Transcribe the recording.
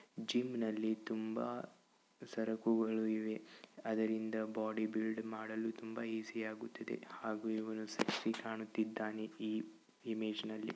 ಜಿಮ್ನ ಲ್ಲಿ ತುಂಬಾ ಸರಕುಗಳಿವೆ ಅದರಿಂದ ಬಾಡಿ ಬಿಲ್ಡ್ ಮಾಡಲು ತುಂಬಾ ಈಜಿ ಆಗುತ್ತದೆ ಹಾಗೂ ಇವನು ಸೆಕ್ಸ್ಸಿ ಕಾಣ್ತಿದಾನೆ ಈ ಇಮೇಜ್ ಅಲ್ಲಿ.